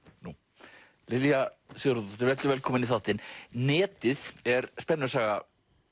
nú Lilja Sigurðardóttir vertu velkomin í þáttinn netið er spennusaga